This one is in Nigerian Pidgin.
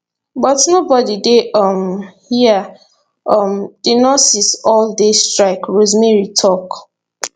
but nobody dey um hia um di nurses all dey strike rosemary tok